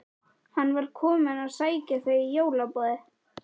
Hann var kominn að sækja þau í jólaboðið.